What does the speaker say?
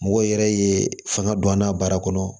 Mɔgɔ yɛrɛ ye fanga don an na baara kɔnɔ